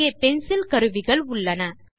இங்கே பென்சில் கருவிகள் உள்ளன